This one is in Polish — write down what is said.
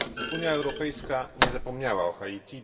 Unia Europejska nie zapomniała o Haiti.